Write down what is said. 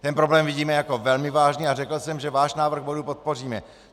Ten problém vidíme jako velmi vážný a řekl jsem, že váš návrh bodu podpoříme.